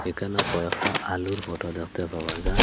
এখানে কয়েকটা আলুর ফটো দেখতে পাওয়া যায়।